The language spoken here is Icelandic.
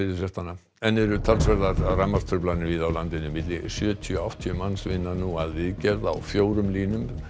enn eru talsverðar rafmagnstruflanir víða á landinu milli sjötíu og áttatíu manns vinna nú að viðgerð á fjórum línum